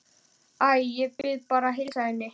Æ, ég bið bara að heilsa henni